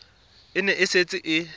e ne e setse e